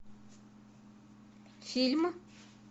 фильм